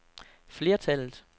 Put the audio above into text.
flertallet